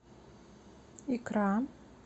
икра